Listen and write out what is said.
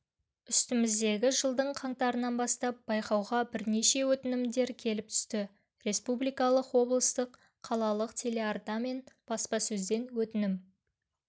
үстіміздегі жылдың қаңтарынан бастап байқауға бірнеше өтінімдер келіп түсті республикалық облыстық қалалық телеарна мен баспасөзден өтінім